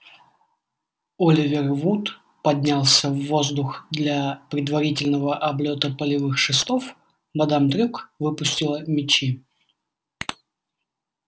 оливер вуд поднялся в воздух для предварительного облёта полевых шестов мадам трюк выпустила мячи